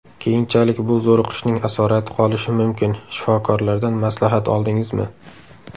Keyinchalik bu zo‘riqishning asorati qolishi mumkin, shifokorlardan maslahat oldingizmi?